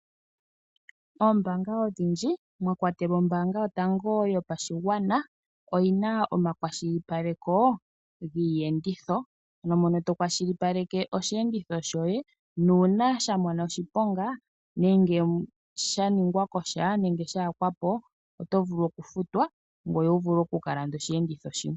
Oombaanga odhindji mwa kwatelwa ombaanga yotango yopashigwana oyina omakwashilipaleko giiyenditho mono to kwalipaleke osheenditho shoye nuuna sha mona oshiponga nenge sha ningwa kosha nenge sha yakwapo oto vulu okufutwa ngoye wuvule okukalanda shimwe.